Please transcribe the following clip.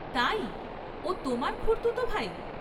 তাই, ও তোমার খুড়তুতো ভাই?